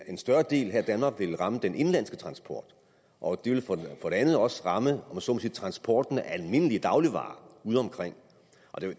en større del her i danmark ville ramme den indenlandske transport og det ville for det andet også ramme om jeg så må sige transporten af almindelige dagligvarer udeomkring